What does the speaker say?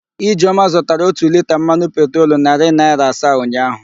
Ijeọma zụtara ótù liita mmanụ petrolu narị naịra asaa ụnyaahụ.